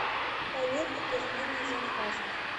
проверь подтверждение заказа